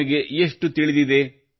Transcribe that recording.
ನಿಮಗೆ ಎಷ್ಟು ತಿಳಿದಿದೆ